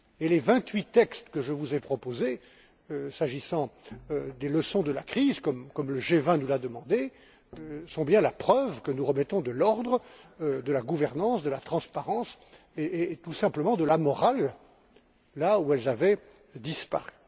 Les vingt huit textes que je vous ai proposés, s'agissant des leçons de la crise comme le G20 nous l'a demandé sont bien la preuve que nous remettons de l'ordre, de la gouvernance, de la transparence et tout simplement de la morale là où ils avaient disparu.